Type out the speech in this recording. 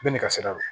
Bɛɛ n'i ka sira don